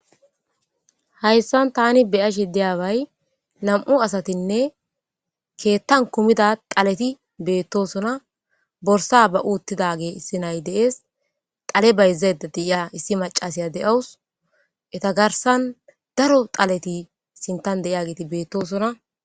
Hayssan tani beyashe deyaaway nam'u asatinne keettan kumida qaleti beettosona borsa ba uuttida ge issinay deees xale bayzaeda de'ia issi macasiya de'awus eta garsan daro xaleti sintan de'iya geti beettosona.